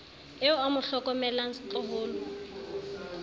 eo a mo hlokomelang setloholo